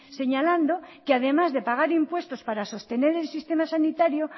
señalando que además de pagar impuestos para sostener el sistema sanitario